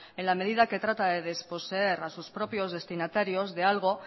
en la medida que trata de desposeer a sus propios destinatarios de algo